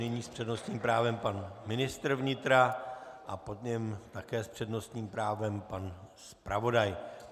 Nyní s přednostním právem pan ministr vnitra a po něm také s přednostním právem pan zpravodaj.